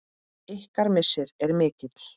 Ykkar missir er mikill.